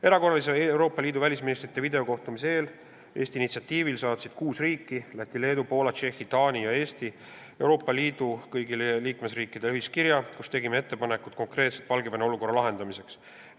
Erakorralise Euroopa Liidu riikide välisministrite videokohtumise eel saatsid Eesti initsiatiivil kuus riiki – Läti, Leedu, Poola, Tšehhi, Taani ja Eesti – kõigile liikmesriikidele ühiskirja, milles tegime konkreetsed ettepanekud Valgevene olukorra lahendamiseks.